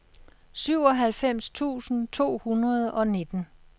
syvoghalvfems tusind to hundrede og nitten